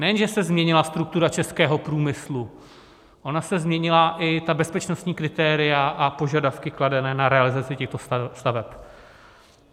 Nejen že se změnila struktura českého průmyslu, ona se změnila i bezpečnostní kritéria a požadavky kladené na realizaci těchto staveb.